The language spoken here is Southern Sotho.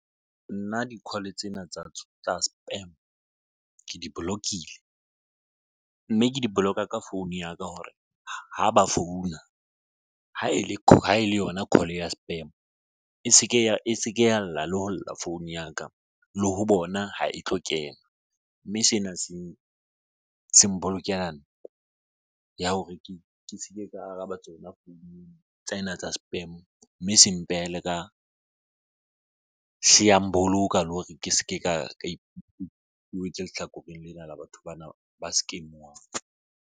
Nna di-call tsena tsa spam, ke di bolokile mme ke di boloka ka founu ya ka hore ha ba founa ha e le ha e le yona call ya spam e se ke ya lla le ho lla founu ya ka le ho bona ha e tlo kena mme sena se bokela hore ke se ke ka araba tsona tsena tsa spam mme se mpehela ka boloka le hore ke se ke ka wetse lehlakoreng lena la batho bana ba scam-uwang.